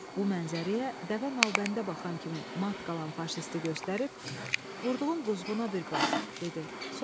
Bu mənzərəyə dəvə nalbəndə baxan kimi mat qalan faşisti göstərib "Vurduğun quzğuna bir bax", dedi.